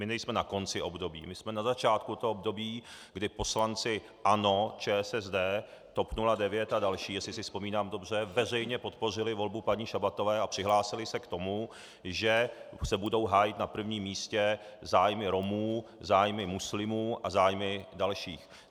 My nejsme na konci období, my jsme na začátku toho období, kdy poslanci ANO, ČSSD, TOP 09 a další, jestli si vzpomínám dobře, veřejně podpořili volbu paní Šabatové a přihlásili se k tomu, že se budou hájit na prvním místě zájmy Romů, zájmy muslimů a zájmy dalších.